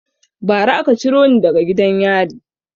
Ba ra aka ciro ni daga gidan yari